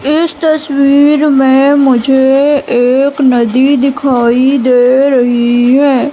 इस तस्वीर में मुझे एक नदी दिखाई दे रही है।